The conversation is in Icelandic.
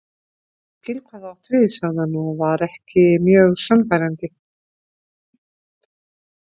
Ég skil hvað þú átt við sagði hann og var ekki mjög sannfærandi.